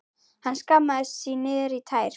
Hann skammaðist sín niður í tær.